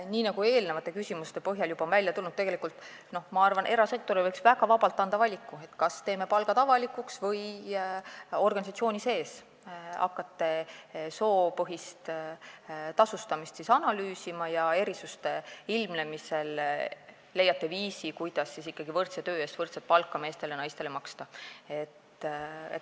Nii nagu eelnevate küsimuste põhjal juba välja on tulnud, ma arvan, et erasektorile võiks väga vabalt anda valiku, kas teeme palgad avalikuks või hakkavad nad organisatsiooni sees soopõhist tasustamist analüüsima ja erisuste ilmnemisel leiavad viisi, kuidas võrdse töö eest meestele ja naistele ikkagi võrdset palka maksta.